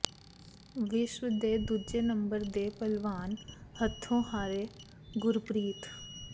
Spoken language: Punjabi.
ਵਿਸ਼ਵ ਦੇ ਦੂਜੇ ਨੰਬਰ ਦੇ ਭਲਵਾਨ ਹੱਥੋਂ ਹਾਰੇ ਗੁਰਪ੍ਰੀਤ